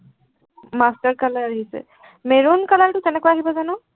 master color আহিছে। maroon color টো কেনেকুৱা আহিব জানো।